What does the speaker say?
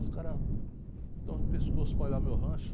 Os caras estão de pescoço para olhar meu rancho.